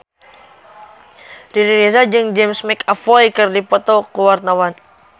Riri Reza jeung James McAvoy keur dipoto ku wartawan